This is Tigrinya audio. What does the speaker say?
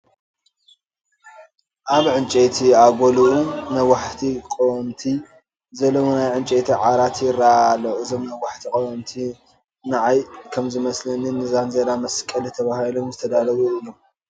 ኣብ ኣንጐሉኡ ነዋሕቲ ቀወምቲ ዘለዉዎ ናይ ዕንጨይቲ ዓራት ይርአ ኣሎ፡፡ እዞም ነዋሕቲ ቀወምቲ ንዓይ ከምዝመስለኒ ንዛንዚራ መስቀሊ ተባሂሎም ዝተዳለዉ እዮም፡፡